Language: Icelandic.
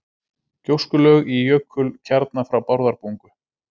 Gjóskulög í jökulkjarna frá Bárðarbungu.